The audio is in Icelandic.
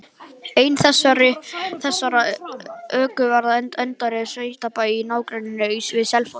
Ein þessara ökuferða endaði á sveitabæ í nágrenni við Selfoss.